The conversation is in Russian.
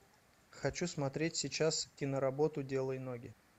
хочу смотреть сейчас киноработу делай ноги